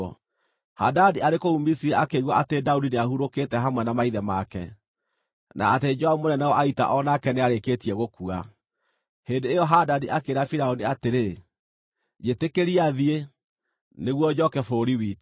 Hadadi arĩ kũu Misiri akĩigua atĩ Daudi nĩahurũkĩte hamwe na maithe make, na atĩ Joabu mũnene wa ita o nake nĩarĩkĩtie gũkua. Hĩndĩ ĩyo Hadadi akĩĩra Firaũni atĩrĩ, “Njĩtĩkĩria thiĩ, nĩguo njooke bũrũri witũ.”